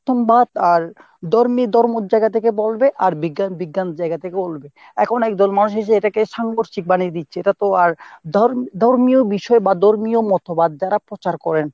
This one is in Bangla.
বিবর্তনবাদ আর ধর্মী ধর্মর জায়গা থেকে বলবে আর বিজ্ঞান বিজ্ঞানের জায়গা থেকে বলবে। এখন একদল মানুষ এসে এটাকে সাংঘর্ষিক বানিয়ে দিচ্ছে, এটা তো আর ধর্ম~ধর্মীয় বিষয় ধর্মীয় মতবাদ যারা প্রচার করেন